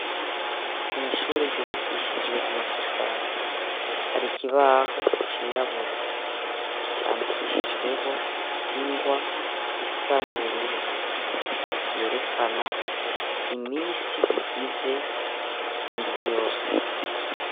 Mw'ishure ryubakishijwe amatafari; hari ikibaho cirabura, candikishijweho ingwa isa n'ubururu, yerekana iminsi igize indwi yose.